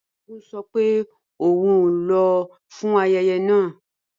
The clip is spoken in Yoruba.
Balógun sọ pé òun ò ní lọ fún ayẹyẹ náà